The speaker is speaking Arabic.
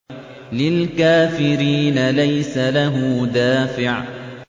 لِّلْكَافِرِينَ لَيْسَ لَهُ دَافِعٌ